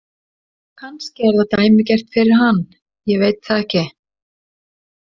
Kannski er það dæmigert fyrir hann, ég veit það ekki.